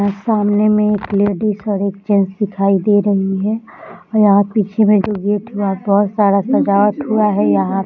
यहां सामने मे एक लेडिज और एक जेंट्स दिखाई दे रही है और यहां पीछे में जो गेट है वहां बहुत सारा सजावट हुआ है यहां |